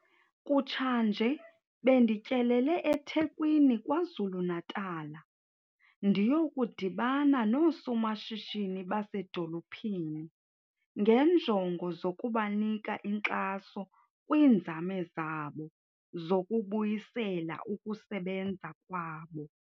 Kutshanje bendityelele eThekwini KwaZulu-Natal ndiyokudibana noosomashishini basedolophini ngeenjongo zokubanika inkxaso kwiinzame zabo zokubuyisela ukusebenza kwabo.